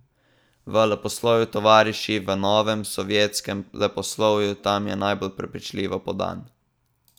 V leposlovju, tovariši, v novem sovjetskem leposlovju, tam je najbolj prepričljivo podan.